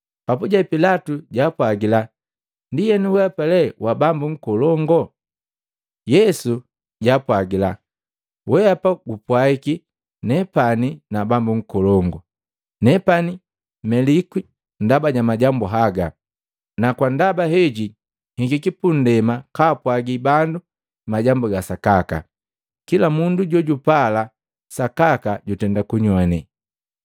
Papuje Pilatu japwaagila, “Ndienu, wehapa le wa Bambu Nkolongu?” Yesu jaapwagila, “Wehapa gupwaiki nepani na Bambu Nkolongu. Nepani melikwi ndaba ja majambu haga, na kwa ndaba heji nhikiki pundema kaapwagi bandu majambu ga Sakaka. Kila mundu jojupala sakaka jutenda kunyoane.”